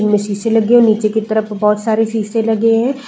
इनमें शीशे लगे हैं। नीचे की तरफ बहोत सारे शीशे लगे हैं।